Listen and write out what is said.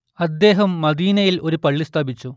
അദ്ദേഹം മദീനയിൽ ഒരു പള്ളി സ്ഥാപിച്ചു